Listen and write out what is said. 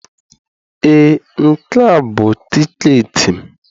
Ee, Nke a bụ tiketi m.